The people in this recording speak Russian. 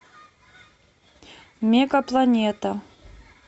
мега планета